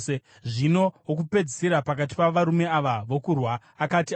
Zvino wokupedzisira pakati pavarume ava vokurwa akati afa,